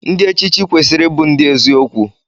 Ndiechichi kwesiri ibu ndi eziokwu.